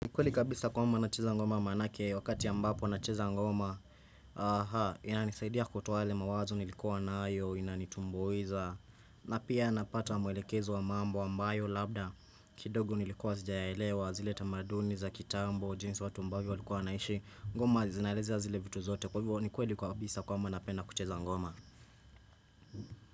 Ni kweli kabisa kwamba nacheza ngoma maanake wakati ambapo nacheza ngoma Aha, inanisaidia kutoa yale mawazo nilikuwa nayo, inanitumbuiza na pia napata mwelekezo wa mambo ambayo labda kidogo nilikuwa sijayalewa, zile tamaduni za kitambo, jinsi watu ambavyo walikuwa wanaishi ngoma zinaelezia zile vitu zote kwa hivyo ni kweli kabisa kwamba napenda kucheza ngoma.